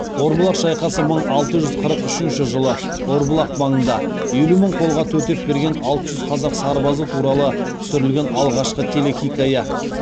орбұлақ шайқасы мың алты жүз қырық үшінші жылы орбұлақ маңында елу мың қолға төтеп берген алты жүз қазақ сарбазы туралы түсірілген алғашқы телехикая